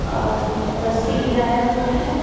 और रस्सी गिराया हुआ है।